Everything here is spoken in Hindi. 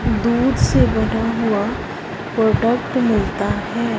दूध से बना हुआ प्रोडक्ट मिलता है।